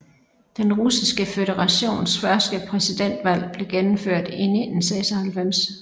Den Russiske Føderations første præsidentvalg blev gennemført i 1996